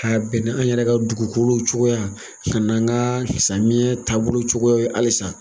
A bɛn an yɛrɛ ka dugukolo cogoya ka an kayɛya taabolo cogoya halisa